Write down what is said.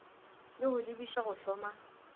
le go lebiša go hloma